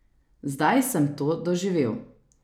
Zdaj sem to doživel.